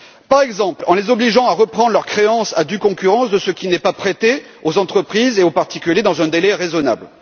Par exemple, en les obligeant à reprendre leurs créances à due concurrence de ce qui n'est pas prêté aux entreprises et aux particuliers, dans un délai raisonnable.